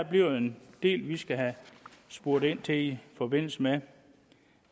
bliver en del vi skal have spurgt ind til i forbindelse med